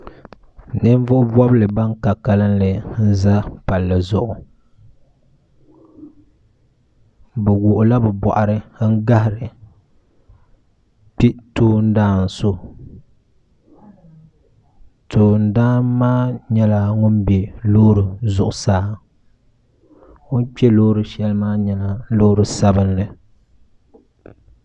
nivuɣibɔgu ban ka kalinli m zala pali zuɣ' be wuɣila be buɣiri n gahiri kpɛ daana so tundan maa nyɛla ŋɔ bɛ lori zuɣ' saa o kpɛ lori ahɛli maa nyɛla lori sabinli